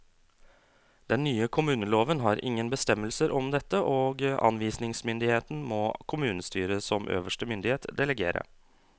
Den nye kommuneloven har ingen bestemmelser om dette, og anvisningsmyndigheten må kommunestyret som øverste myndighet delegere.